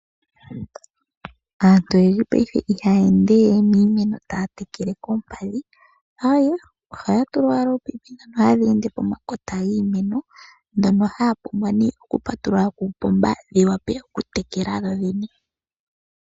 Aantu oyendji paife ihaya ende we ye na iinima taa tekele koompadhi, aawe, ohaa tula owala ominino ndho hadhi ende pomakota giimeno ndhono haa pumbwa nee okupatulula kuupomba, dhi wape okutekela dhodhene.